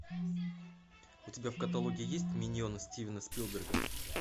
у тебя в каталоге есть миньоны стивена спилберга